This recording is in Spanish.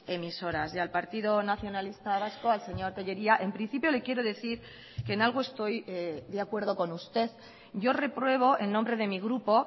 emisoras y al partido nacionalista vasco al señor tellería en principio le quiero decir que en algo estoy de acuerdo con usted yo repruebo en nombre de mi grupo